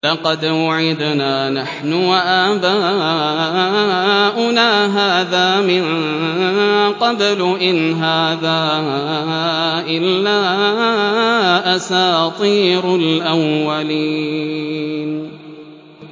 لَقَدْ وُعِدْنَا نَحْنُ وَآبَاؤُنَا هَٰذَا مِن قَبْلُ إِنْ هَٰذَا إِلَّا أَسَاطِيرُ الْأَوَّلِينَ